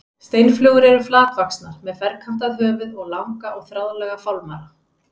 Steinflugur eru flatvaxnar með ferkantað höfuð og langa og þráðlaga fálmara.